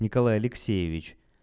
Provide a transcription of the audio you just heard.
николай алексеевич